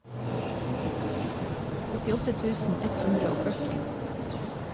åttiåtte tusen ett hundre og førti